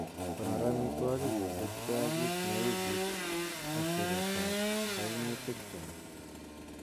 Konor amitwogik kosiibge ak kit neu kit ak siretab kainutikchwak.